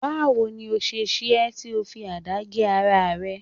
Bawo ni o se ṣe é tí ó fi àdá gé ara rẹ